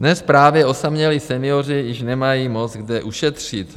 Dnes právě osamělí senioři již nemají moc kde ušetřit.